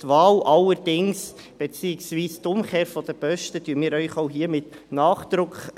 Die Wahl, beziehungsweise die Umkehr der Posten, empfehlen wir Ihnen allerdings auch hier wieder mit Nachdruck.